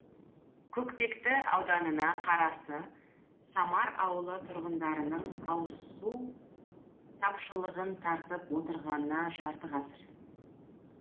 көкпекті ауданына қарасты самар ауылы тұрғындарының ауызсу тапшылығын тартып отырғанына жарты ғасыр